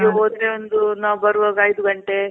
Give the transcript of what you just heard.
ಬೆಳ್ಗೆಗೆ ಹೋದ್ರೆ ಒಂದು ನಾವ್ ಬರೋವಾಗ ಒಂದ್ ಐದು ಗಂಟೆ